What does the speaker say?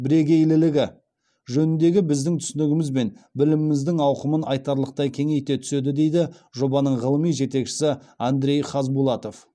бірегейлілігі жөніндегі біздің түсінігіміз бен біліміміздің ауқымын айтарлықтай кеңейте түседі дейді жобаның ғылыми жетекшісі андрей хазбулатов